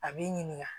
A b'i ɲininka